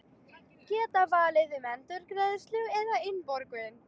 Geta valið um endurgreiðslu eða innborgun